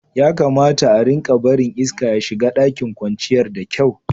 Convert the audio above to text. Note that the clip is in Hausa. Ya kamata a'rika barin iska ya shiga ɗakin kwanciyar da kyau.